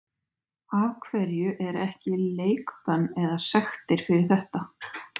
Af hverju er ekki leikbönn eða sektir fyrir þetta?